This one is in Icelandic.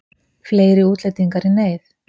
Fleiri útlendingar í neyð